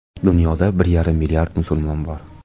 Dunyoda bir yarim milliard musulmon bor.